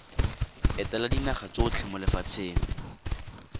etela dinaga tsotlhe mo lefatsheng